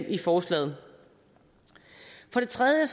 i forslaget for det tredje